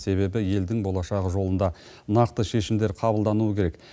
себебі елдің болашағы жолында нақты шешімдер қабылдануы керек